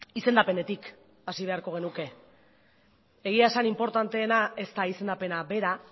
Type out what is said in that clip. izendapenetik hasi beharko genuke egia esan inportanteena ez da izendapena bera